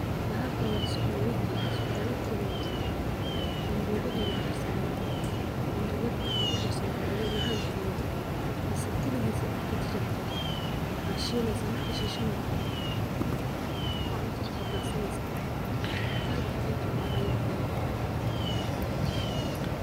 Waxan wa sukuma wiki oo ambogada lugudarsada marku lugudaro macan ayu kadiga mise kaligis aya inta jarjarto as shileysa marka shisho aya cuntada kukordarsaneysa aad iyo aad ayu umacanyehe.